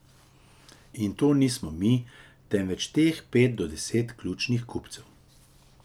In to nismo mi, temveč teh pet do deset ključnih kupcev.